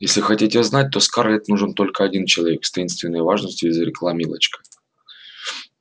если хотите знать то скарлетт нужен только один человек с таинственной важностью изрекла милочка